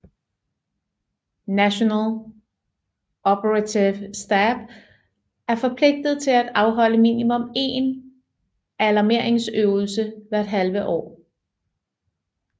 National Operativ Stab er forpligtet til at afholde minimum én alarmeringsøvelse hvert halve år